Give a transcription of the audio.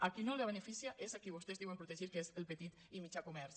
a qui no beneficia és a qui vostès diuen protegir que és el petit i mitjà comerç